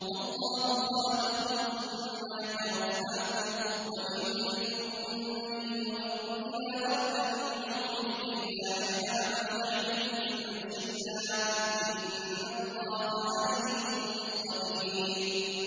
وَاللَّهُ خَلَقَكُمْ ثُمَّ يَتَوَفَّاكُمْ ۚ وَمِنكُم مَّن يُرَدُّ إِلَىٰ أَرْذَلِ الْعُمُرِ لِكَيْ لَا يَعْلَمَ بَعْدَ عِلْمٍ شَيْئًا ۚ إِنَّ اللَّهَ عَلِيمٌ قَدِيرٌ